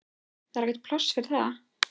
Það er ekkert pláss fyrir það.